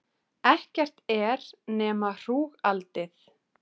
Ekkert er nema hrúgaldið.